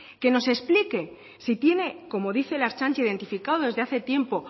que nos explique si tiene como dice la ertzaintza identificado desde hace tiempo